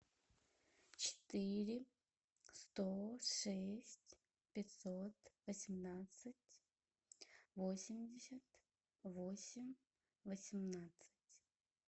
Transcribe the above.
четыре сто шесть пятьсот восемнадцать восемьдесят восемь восемнадцать